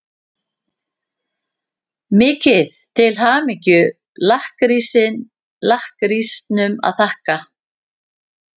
Mikið til hamingju-lakkrísnum að þakka.